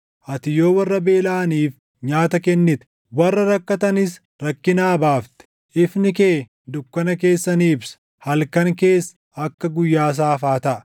ati yoo warra beelaʼaniif nyaata kennite, warra rakkatanis rakkinaa baafte, ifni kee dukkana keessa ni ibsa; halkan kees akka guyyaa saafaa taʼa.